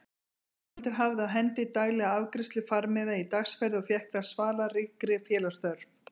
Svanhildur hafði á hendi daglega afgreiðslu farmiða í dagsferðir og fékk þar svalað ríkri félagsþörf.